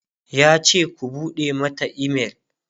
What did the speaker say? yace "ku buɗe Mata email!"